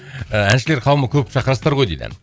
ііі әншілер қауымын көп шақырасыздар ғой дейді